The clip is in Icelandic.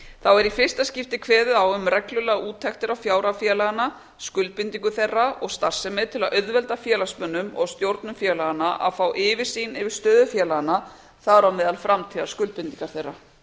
þá er í fyrsta skipti kveðið á um reglulegar úttektir á fjárhag félaganna skuldbindingum þeirra og starfsemi til að auðvelda félagsmönnum og stjórnum félaganna að fá yfirsýn yfir stöðu félaganna þar á meðal framtíðarskuldbindingar þeirra